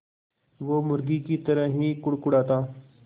वो मुर्गी की तरह ही कुड़कुड़ाता